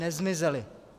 Nezmizely.